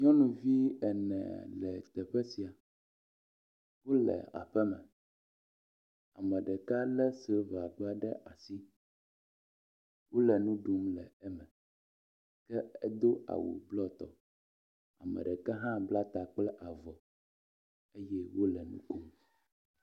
Nyɔnuvi ene le teƒe sia, wole aƒeme, ame ɖeka lé silava aɖe ɖe asi, wole nu ɖum le eme, ke edo awu blɔ tɔ, ame ɖeka hã bla ta kple avɔ eye wole nu kom.